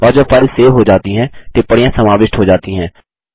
और जब file save हो जाती है टिप्पणियाँ समाविष्ट हो जाती हैं